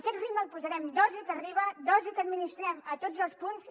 aquest ritme el posarem dosi que arriba dosi que administrem a tots els punts